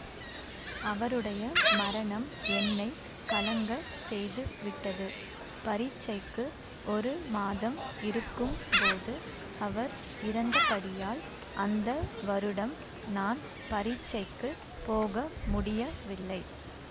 அவருடைய மரணம் என்னை கலங்கச் செய்துவிட்டது பரீட்சைக்கு ஒரு மாதம் இருக்கும் போது அவர் இறந்தபடியால் அந்த வருடம் நான் பரீட்சைக்குப் போக முடியவில்லை